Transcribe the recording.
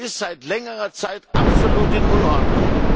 Das ist seit längerer Zeit absolut in Unordnung.